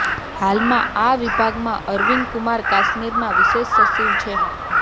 હાલ આ વિભાગમાં અરવિંદ કુમાર કાશ્મીરના વિશેષ સચિવ છે